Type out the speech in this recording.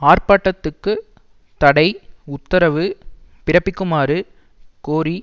ஆர்ப்பாட்டத்துக்கு தடை உத்தரவு பிறப்பிக்குமாறு கோரி